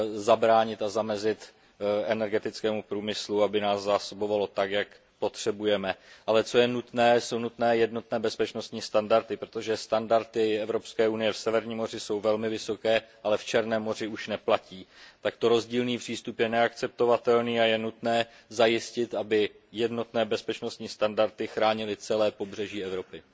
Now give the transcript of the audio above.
zabránit a zamezit energetickému průmyslu, aby nás zásoboval tak, jak potřebujeme. Ale co je nutné, to jsou jednotné bezpečnostní standardy, protože standardy Evropské unie v Severním moři jsou velmi vysoké, ale v Černém moři už neplatí. Takto rozdílný přístup je neakceptovatelný a je nutné zajistit, aby jednotné bezpečnostní standardy chránily celé pobřeží Evropy.